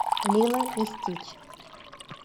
лило и стич